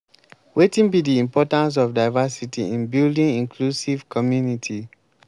wetin be di importance of diversity in building inclusive community?